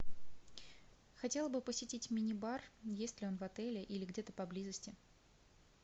хотела бы посетить мини бар есть ли он в отеле или где то поблизости